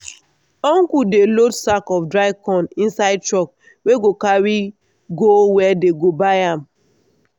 uncle dey load sack of dry corn inside truck wey go carry go where dey go buy am.